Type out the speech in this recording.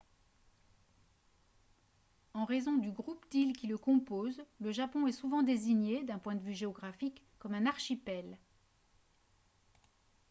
en raison du groupe d'îles qui le composent le japon est souvent désigné d'un point de vue géographique comme un « archipel »